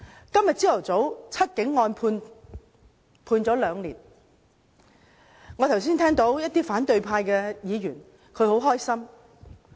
今天早上，"七警案"判刑兩年，我剛才聽到一些反對派議員表示很高興。